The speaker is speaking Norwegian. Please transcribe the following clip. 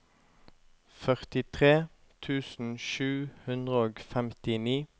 førtitre tusen sju hundre og femtini